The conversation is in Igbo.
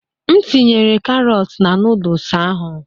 M tinyere karọt na noodus ahụ.